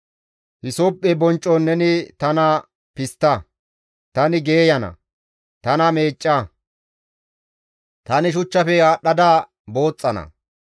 Hisophphe bonccon neni tana pistta; tani geeyana; tana meecca; tani shachchafe aadhdhada booxxana.